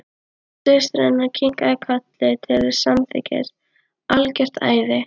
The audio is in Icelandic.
Og systir hennar kinkaði kolli til samþykkis: Algjört æði.